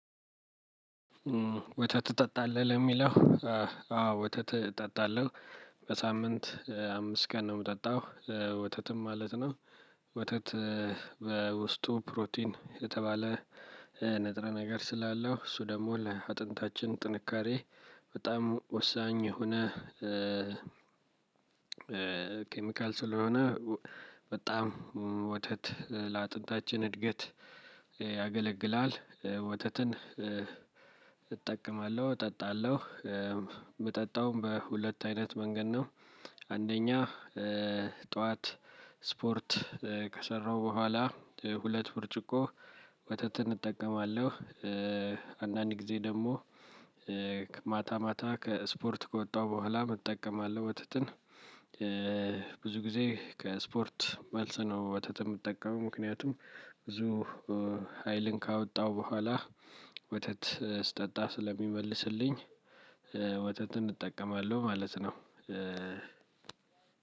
ወተት ትጠጣለህ የሚለው? አዎ ወተት እጠጣለሁ። በሳምንት አምስት ቀን ነው የምጠጣው ወተትም ማለት ነው። ወተት በውስጡ ፕሮቲን የተባለ ንጥረ ነገር ስላለው እሱ ደግሞ ለአጥንታችን ጥንካሬ በጣም ወሳኝ የሆነ። ኬሚካል ስለሆነ በጣም ወተት ለአጥንታችን እድገት ያገለግላል። ወተትን እጠቀማለሁ እጠጣለሁ የምጠጣውም በሁለት አይነት መንገድ ነው። አንደኛ ጠዋት ስፖርት ከሰራሁ በኋላ ሁለት ብርጭቆ ወተትን እጠቀማለሁ። አንደኛ ጊዜ ደግሞ ማታ ማታ ስፖርት ከወጣሁ በኋላ እጠቀማለሁ ወተትን። ብዙ ጊዜ ከስፖርት መልስ ነው ወተትን የምትጠቀመው? ምክንያቱም ብዙ ሀይልን ካወጣው በኋላ ወተት ስጠጣ ስለሚመልስልኝ። ወተትን እጠቀማለሁ ማለት ነው።